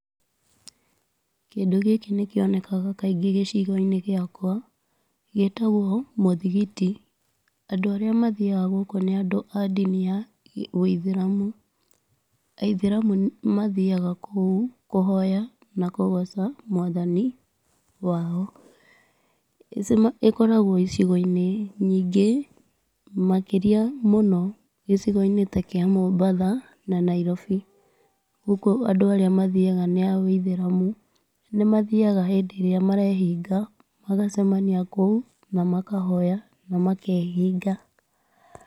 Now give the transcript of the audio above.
Kĩndũ gĩkĩ nĩ kĩonekaga kaingĩ gĩcigo-inĩ gĩakwa, gĩtagwo mũthigiti. Andũ arĩa mathiaga gũkũ nĩ andũ a ndini ya wũithĩramu. Aithĩramu mathiaga kũu kũhoya na kũgoca mwathani wao. ĩkoragwo icigo-inĩ nyingĩ, makĩria mũno, gĩcigo-inĩ ta kĩa Mombatha na Nairobi. Gũkũ andũ arĩa mathiaga nĩ a wũithĩramu. Nĩ mathiaga hĩndĩ ĩrĩa mareehinga, magacemania kũu na makahoya, na makeehinga.